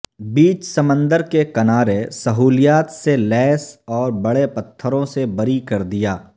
بیچ سمندر کے کنارے سہولیات سے لیس اور بڑے پتھروں سے بری کر دیا